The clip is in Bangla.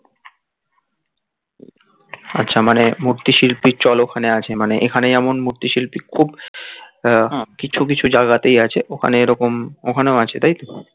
আচ্ছা মানে মূর্ত্তি শিল্পীর চল ওখানে আছে মানে এখানে যেমন মূর্তি শিল্পী খুব কিছু কিছু জায়গা তেই আছে ওখানে এরকম ওখানেও আছে তাইতো